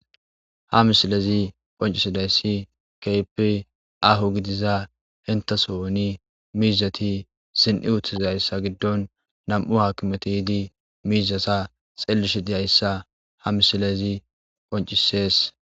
Ha misilezi phoncisidayssi keypi ahu gidiza hintaso oni miizati sin7i uttizayssa giddon nam7u haakimeti idi miizasa xellish diyayssa ha misilezi phoncisees.